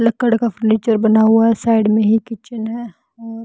लकड़ का फर्नीचर बना हुआ है साइड में ही किचन है और--